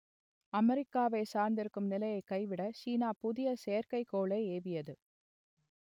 அமெரிக்காவைச் சார்ந்திருக்கும் நிலையை கைவிட சீனா புதிய செயற்கைக்கோளை ஏவியது